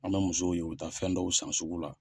An bɛ musow ye , u bɛ taa fɛn dɔw san sugu la.